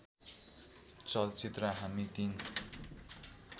चलचित्र हामी तिन